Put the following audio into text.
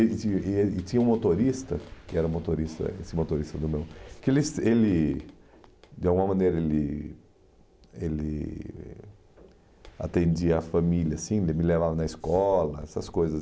E e e tinha um motorista, que era motorista, esse motorista do meu, que ele ele de alguma maneira ele ele atendia a família, assim, daí ele me levava na escola, essas coisas.